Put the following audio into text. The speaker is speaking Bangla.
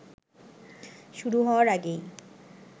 শুরু হওয়ার আগেই